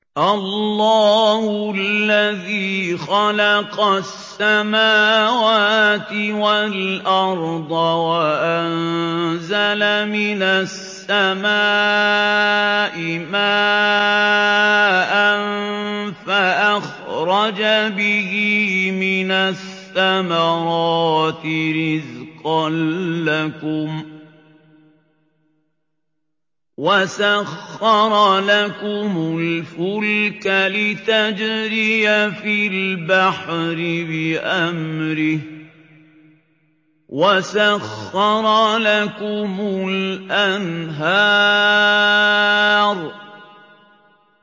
اللَّهُ الَّذِي خَلَقَ السَّمَاوَاتِ وَالْأَرْضَ وَأَنزَلَ مِنَ السَّمَاءِ مَاءً فَأَخْرَجَ بِهِ مِنَ الثَّمَرَاتِ رِزْقًا لَّكُمْ ۖ وَسَخَّرَ لَكُمُ الْفُلْكَ لِتَجْرِيَ فِي الْبَحْرِ بِأَمْرِهِ ۖ وَسَخَّرَ لَكُمُ الْأَنْهَارَ